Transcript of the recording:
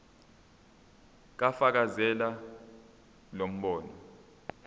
fakazela lo mbono